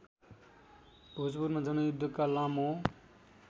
भोजपुरमा जनयुद्धका लामो